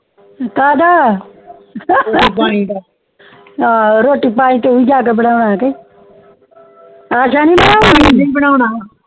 ਕਦਾ ਰੋਟੀ ਪਾਣੀ ਤੁਵੀ ਜਾਕੇ ਬਣਾ ਕੇ